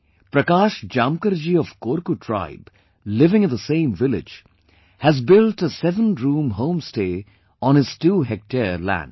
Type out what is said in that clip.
Prakash Jamkar ji of Korku tribe living in the same village has built a sevenroom home stay on his two hectare land